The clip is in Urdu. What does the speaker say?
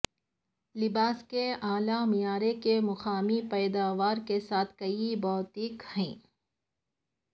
لباس کے اعلی معیار کے مقامی پیداوار کے ساتھ کئی بوتیک ہیں